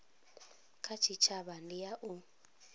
kha tshitshavha ndi ya u